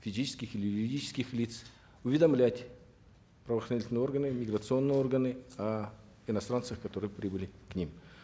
физических или юридических лиц уведомлять правоохранительные органы миграционные органы о иностранцах которые прибыли к ним